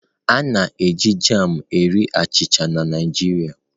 A na-eji jam na-eri achịcha na Naijiriaa.